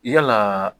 Yalaa